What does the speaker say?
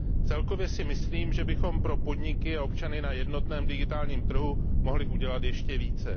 Celkově si myslím, že bychom pro podniky a občany na jednotném digitálním trhu mohli udělat ještě více.